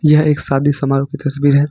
यह एक शादी समारोह की तस्वीर है।